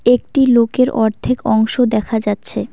একটি লোকের অর্ধেক অংশ দেখা যাচ্ছে।